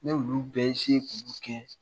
Ne y'olu bɛ k'olu kɛ